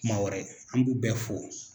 Kuma wɛrɛ an b'u bɛ fo